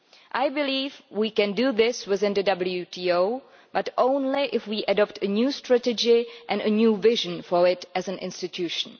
I believe we can do this within the WTO, but only if we adopt a new strategy and a new vision for it as an institution.